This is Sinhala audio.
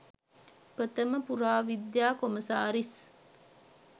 ප්‍රථම පුරාවිද්‍යා කොමසාරිස්